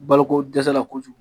Boloko dɛsɛ la kojugu .